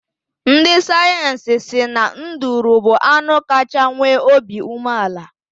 Ndị sayensị si na nduru bụ anụ kachaa nwee obi umeala.